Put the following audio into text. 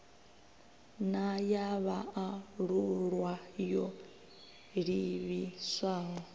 na ya vhaalulwa yo livhiswaho